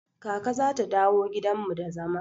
Kaka zata dawo gidan mu da zama.